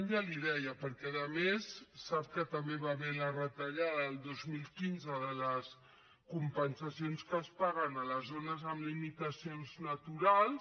ja li ho deia perquè a més sap que també hi va haver la retallada el dos mil quinze de les compensacions que es paguen a les zones amb limitacions naturals